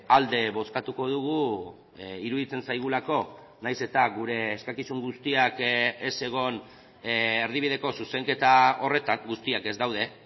alde bozkatuko dugu iruditzen zaigulako nahiz eta gure eskakizun guztiak ez egon erdibideko zuzenketa horretan guztiak ez daude